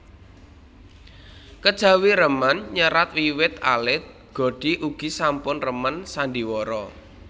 Kejawi remen nyerat wiwit alit Godi ugi sampun remen sandhiwara